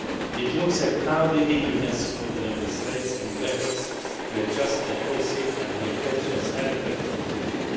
It looks at how the EU can support the Member States in their efforts to adjust their policy and make pensions adequate for the future.